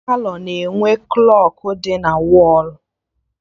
Ọtụtụ Palọ na-enwe enwe klọkụ dị na wọlụ